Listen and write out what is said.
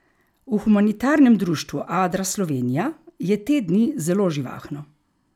V humanitarnem društvu Adra Slovenija je te dni zelo živahno.